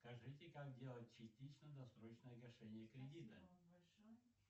скажите как делать частично досрочное погашение кредита спасибо вам большое